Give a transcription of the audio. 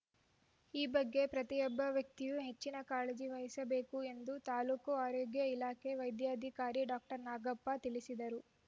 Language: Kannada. ಈ ಬಗ್ಗೆ ಪ್ರತಿಯೊಬ್ಬ ವ್ಯಕ್ತಿಯೂ ಹೆಚ್ಚಿನ ಕಾಳಜಿ ವಹಿಸಬೇಕು ಎಂದು ತಾಲ್ಲೂಕು ಆರೋಗ್ಯ ಇಲಾಖೆ ವೈದ್ಯಾಧಿಕಾರಿ ಡಾಕ್ಟರ್ ನಾಗಪ್ಪ ತಿಳಿಸಿದರು